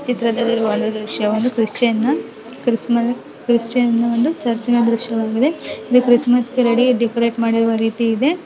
ಈ ಚಿತ್ರದಲ್ಲಿ ಒಂದು ದೃಶ್ಯ ಕ್ರಿಶ್ಚಿಯನ್ ಕ್ರಿಸ್ ಕ್ರಿಶ್ಚಿಯನ್ ಒಂದು ಚರ್ಚಿನ ದೃಶ್ಯವಾಗಿದೆ ಕ್ರಿಸ್ಮಸ್ಗೆ ಡೆಕೋರೇಟ್ ಮಾಡಿರೋ ರೀತಿ ಇದೆ .